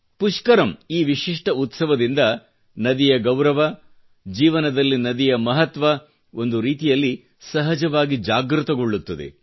ಪುಷ್ಕರಮ್ ಈ ವಿಶಿಷ್ಟ ಉತ್ಸವದಿಂದ ನದಿಯ ಗೌರವ ಜೀವನದಲ್ಲಿ ನದಿಯ ಮಹತ್ವ ಒಂದು ರೀತಿಯಲ್ಲಿ ಸಹಜವಾಗಿ ಜಾಗೃತಗೋಳ್ಳುತ್ತದೆ